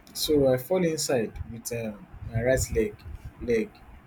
so i fall inside wit um my right leg leg